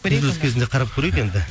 үзіліс кезінде қарап көрейік енді